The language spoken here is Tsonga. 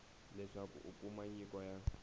leswaku u kuma nyiko ya